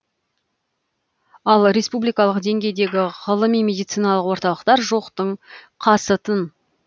ал республикалық деңгейдегі ғылыми медициналық орталықтар жоқтың қасы тын